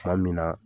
Tuma min na